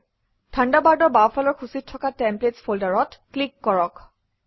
থাণ্ডাৰবাৰ্ডৰ বাওঁফালৰ সূচীত থকা টেমপ্লেটছ ফল্ডাৰত ক্লিক কৰক